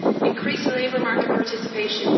increase labour market participation